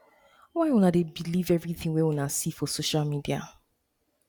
why una dey believe everytin wey una see for see for social media